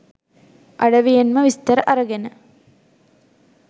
අඩවියෙන්ම විස්තර අරගෙන